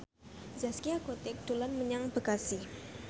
Zaskia Gotik dolan menyang Bekasi